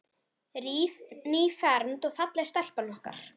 Nýfermd og falleg stelpan okkar.